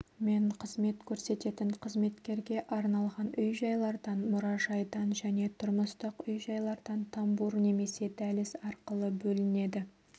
мен қызмет көрсететін қызметкерге арналған үй-жайлардан мұражайдан және тұрмыстық үй-жайлардан тамбур немесе дәліз арқылы бөлінеді